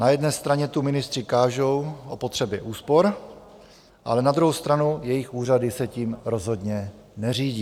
Na jedné straně tu ministři kážou o potřebě úspor, ale na druhou stranu jejich úřady se tím rozhodně neřídí.